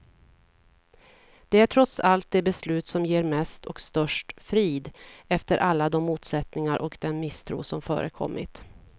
Det är trots allt det beslut som ger mest och störst frid, efter alla de motsättningar och den misstro som förekommit.